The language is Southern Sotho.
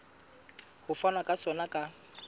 ho fanwa ka sona ka